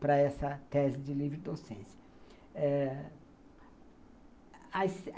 para essa tese de livre docência. Eh